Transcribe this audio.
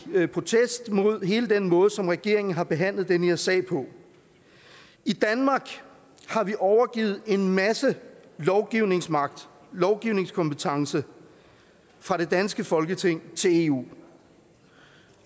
vil protestere mod hele den måde som regeringen har behandlet den her sag på i danmark har vi overgivet en masse lovgivningsmagt lovgivningskompetence fra det danske folketing til eu